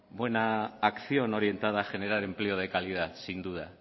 buena acción orientada a generar empleo de calidad sin duda